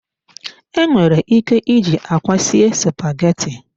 Enwere ike iji akwa sie spaghetti.